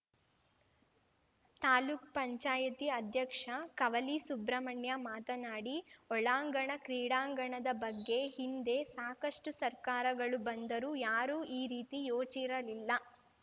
ತಾಲೂಕ್ ಪಂಚಾಯತಿ ಅಧ್ಯಕ್ಷ ಕವಲಿ ಸುಬ್ರಮಣ್ಯ ಮಾತನಾಡಿ ಒಳಾಂಗಣ ಕೀಡಾಂಗಣದ ಬಗ್ಗೆ ಹಿಂದೆ ಸಾಕಷ್ಟುಸರ್ಕಾರಗಳು ಬಂದರೂ ಯಾರೂ ಈ ರೀತಿ ಯೋಚಿರಲಿಲ್ಲ